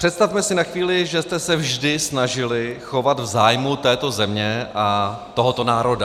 Představme si na chvíli, že jste se vždy snažili chovat v zájmu této země a tohoto národa.